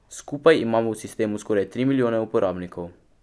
Skupaj imamo v sistemu skoraj tri milijone uporabnikov.